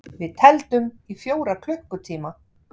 Við tefldum í fjóra klukkutíma!